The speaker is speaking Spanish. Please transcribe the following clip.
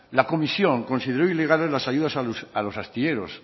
la comisión consideró ilegales las ayudas a los astilleros